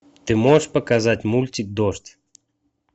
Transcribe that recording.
ты можешь показать мультик дождь